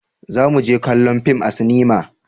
za mu je kallon fim a sinima